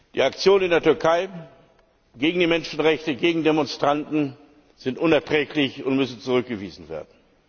Die Aktionen in der Türkei gegen die Menschenrechte, gegen Demonstranten sind unerträglich und müssen zurückgewiesen werden!